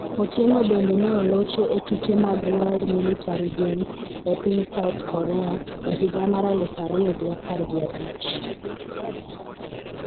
Otieno bende ne olocho e tuke mag World Military Games e piny South Korea e higa mar aluf ariyo gi apar gi abich.